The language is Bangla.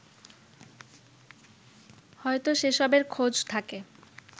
হয়তো সেসবের খোঁজ থাকে